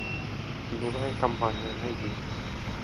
теневая компания найди